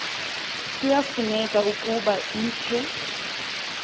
kuyafuneka ukuba ikhe